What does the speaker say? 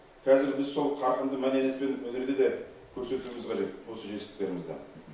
қазір біз сол қарқынды мәдениет пен өнерде де көрсетуіміз қажет осы жетістіктерімізді